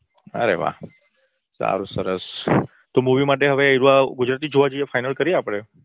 અરે વાહ સારું સરસ તો movie માટે હવે ગુજરાતી જોવા જઈએ final કરીએ આપડે